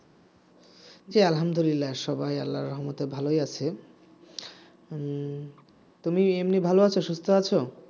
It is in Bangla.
জ্বি আলহামদুলিল্লাহ সবাই আল্লাহর রহমতে ভালোই আছি উম তুমি এমনি ভালো আছো সুস্থ আছো